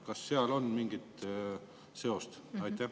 Kas seal on mingi seos?